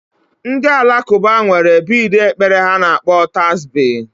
Ndị Alakụba nwere bidi ekpere ha na akpọ Tasbi